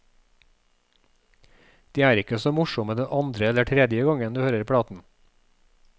De er ikke så morsomme den andre eller tredje gangen du hører platen.